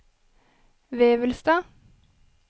Vevelstad